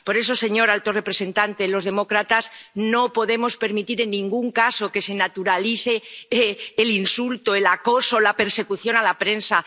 Por eso, señor alto representante, los demócratas no podemos permitir en ningún caso que se naturalice el insulto, el acoso, la persecución a la prensa.